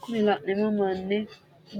Kuri laneemmo manni